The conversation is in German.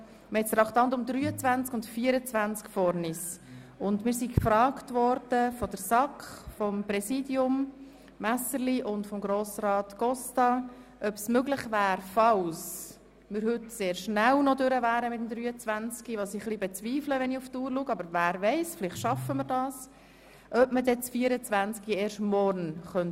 Wir wurden vom Präsidenten der SAK, Walter Messerli, sowie von Grossrat Costa gefragt, ob wir in dem Fall, dass wir das Traktandum 23 heute schon abschliessen, mit dem Traktandum 25 fortfahren und das Traktandum 24 auf morgen verschieben könnten.